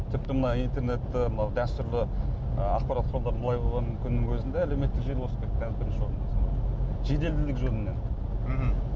тіпті мына интернетті мына дәстүрлі ы ақпарат құралдары былай қойған күннің өзінде әлеуметтік желі озып кетті жеделділік жөнінен мхм